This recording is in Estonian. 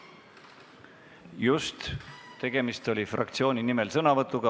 Just, tegemist oli sõnavõtuga fraktsiooni nimel.